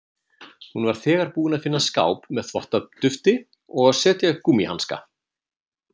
Hún var þegar búin að finna skáp með þvottadufti og setja upp gúmmíhanska.